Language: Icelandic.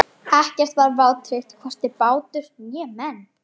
Ekkert var vátryggt, hvorki bátur né menn.